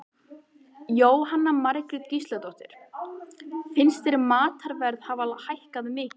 Jóhanna Margrét Gísladóttir: Finnst þér matarverð hafa hækkað mikið?